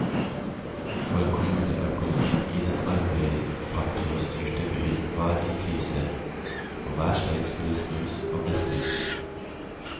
For kommuneøkonomien i den arbeiderpartistyrte byen var i krise, og hver stein skulle snus, og ble snudd.